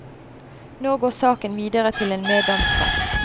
Nå går saken videre til en meddomsrett.